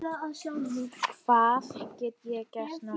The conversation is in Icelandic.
Hvað get ég gert núna?